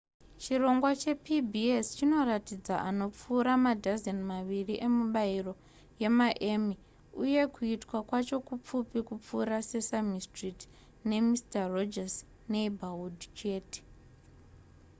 chirongwa chepbs chinoratidza anopfuura madhazeni maviri emibairo yemaemmy uye kuitwa kwacho kupfupi kupfuura sesame street ne mister rogers neighborhood chete